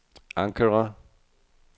Ankara